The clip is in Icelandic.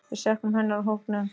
Við söknum hennar úr hópnum.